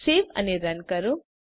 save અને run કરો